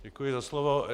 Děkuji za slovo.